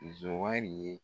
Sonwari ye